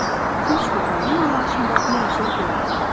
Odur ki, üç gün mənim anlayışımda möcüzə deyildi.